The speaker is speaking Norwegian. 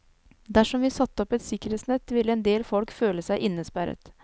Dersom vi satte opp et sikkerhetsnett, ville en del folk føle seg innesperret.